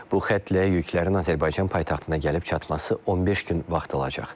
Bu xəttlə yüklərin Azərbaycan paytaxtına gəlib çatması 15 gün vaxt alacaq.